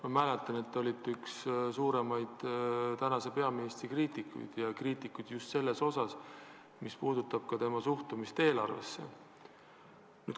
Ma mäletan, et te olite üks suurimaid praeguse peaministri kriitikuid ja just selles osas, mis puudutab tema suhtumist eelarvesse.